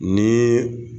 Ni